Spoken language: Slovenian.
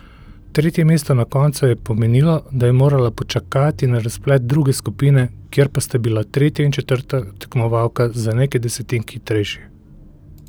Tretje mesto na koncu je pomenilo, da je morala počakati na razplet druge skupine, kjer pa sta bili tretja in četrta tekmovalka za nekaj desetink hitrejši.